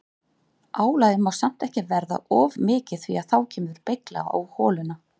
Álagið má samt ekki verða of mikið því að þá kemur beygja á holuna.